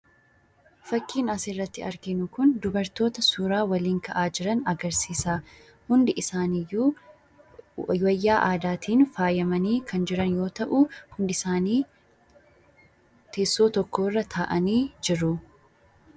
Fakkiin asirratti arginu kun dubartoota suuraa waliin ka'aa jiran agarsiisa. Hundi isaanii iyyuu wayyaa aadaatiin faayamanii kan jiran yoo ta'u, hundi isaanii teessoo tokko irra taa'anii jiru.